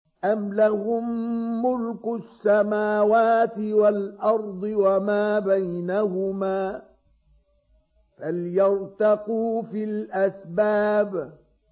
أَمْ لَهُم مُّلْكُ السَّمَاوَاتِ وَالْأَرْضِ وَمَا بَيْنَهُمَا ۖ فَلْيَرْتَقُوا فِي الْأَسْبَابِ